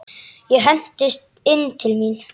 Ég hendist inn til mín.